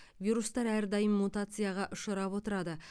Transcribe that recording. вирустар әрдайым мутацияға ұшырап отырады